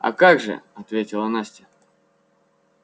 а как же ответила настя